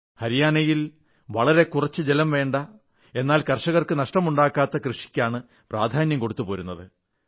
ഹരിയാനയിൽ വളരെ കുറച്ച് ജലം ആവശ്യമായ എന്നാൽ കർഷകർക്കു നഷ്ടമുണ്ടാകാത്ത കൃഷിക്കാണ് പ്രാധാന്യം കൊടുത്തു പോരുന്നത്